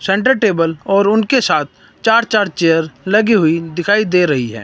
Centre table और उनके साथ चार चार चेयर लगी हुई दिखाई दे रही है।